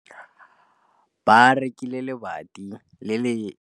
Ba rekile lebati le le setlha gore bana ba dire motshameko mo go lona.